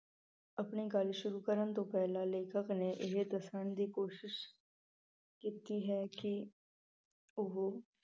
ਆਪਣੀ ਗੱਲ ਸ਼ੁਰੂ ਕਰਨ ਤੋਂ ਪਹਿਲਾਂ ਲੇਖਕ ਨੇ ਇਹ ਦੱਸਣ ਦੀ ਕੋਸ਼ਿਸ਼ ਕੀਤੀ ਹੈ ਕਿ ਉਹ